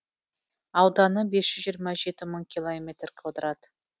ауданы бес жүз жиырма жеті мың километр квадрат